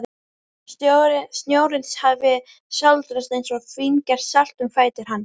Snjórinn hafði sáldrast eins og fíngert salt um fætur hans.